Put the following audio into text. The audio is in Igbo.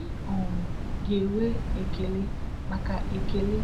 ị um ga-enwe ekele maka ekele